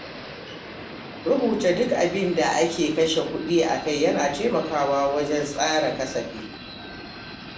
Rubuta duk abin da ake kashe kuɗi akai yana taimakawa wajen tsara kasafi.